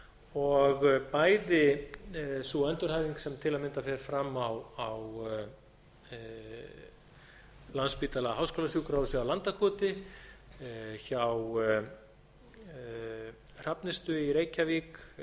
og bæði sú endurhæfing sem til að mynda fer fram á landspítala háskólasjúkrahúsi á landakoti hjá hrafnistu í reykjavík